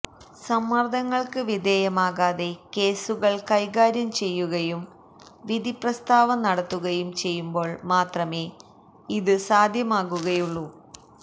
സമ്മര്ദങ്ങള്ക്ക് വിധേയമാകാതെ കേസുകള് കൈകാര്യം ചെയ്യുകയും വിധിപ്രസ്താവം നടത്തുകയും ചെയ്യുമ്പോള് മാത്രമേ ഇത് സാധ്യമാകുകയുള്ളൂ